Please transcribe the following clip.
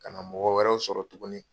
Ka na mɔgɔ wɛrɛw sɔrɔ tuguni.